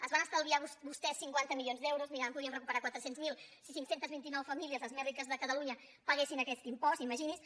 es van estalviar vostès cinquanta milions d’euros mira ara en podríem recuperar quatre cents miler si cinc cents i vint nou famílies les més riques de catalunya paguessin aquest impost imagini’s